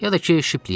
Ya da ki Shiple-yə.